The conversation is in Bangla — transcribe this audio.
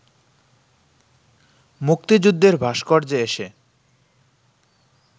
মুক্তিযুদ্ধের ভাস্কর্যে এসে